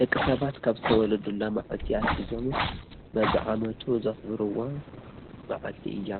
ደቂ ሰባት ካብ ዝተወለዱላ ማዕልቲ ኣትሒዞም በብዓመቱ ዘክብርዋ ምዓልቲ እያ።